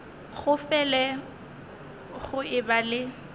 go fele go eba le